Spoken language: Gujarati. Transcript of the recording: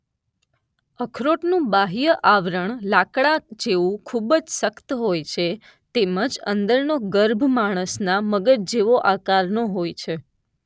અખરોટનું બાહ્ય આવરણ લાકડા જેવું ખૂબ જ સખત હોય છે તેમ જ અંદરનો ગર્ભ માણસના મગજ જેવો આકારનો હોય છે.